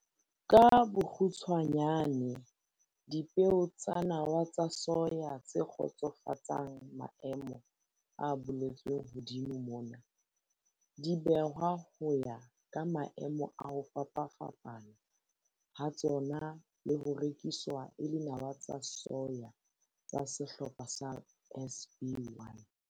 Ka bokgutshwanyane, dipeo tsa nawa tsa soya tse kgotsofatsang maemo a boletsweng hodimo mona, di behwa ho ya ka maemo a ho fapafapana ha tsona le ho rekiswa e le nawa tsa soya tsa sehlopha sa SB1.